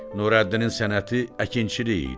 Nurəddinin sənəti əkinçilik idi.